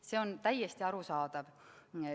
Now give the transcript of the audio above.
See on täiesti arusaadav.